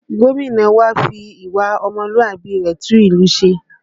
Gómìnà wa ń fi ìwà ọmọlúàbí ara rẹ̀ tún ìlú ṣe